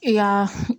Yan